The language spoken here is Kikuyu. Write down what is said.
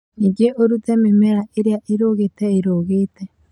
Ningĩ ũrute mĩmera ĩrĩa ĩrũgĩte ĩrũgĩte